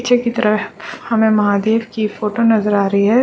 पीछे की तरफ हमे महादेव की फ़ोटो नजर आ रही है।